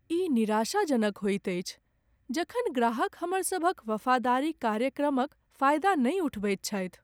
ई निराशाजनक होइत अछि जखन ग्राहक हमरसभक वफादारी कार्यक्रमक फायदा नहि उठबैत छथि।